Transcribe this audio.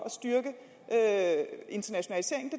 at styrke internationaliseringen